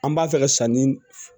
An b'a fɛ ka sanni